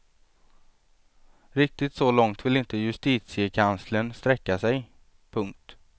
Riktigt så långt vill inte justitiekanslern sträcka sig. punkt